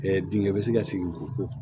dingɛ bɛ se ka sigi ko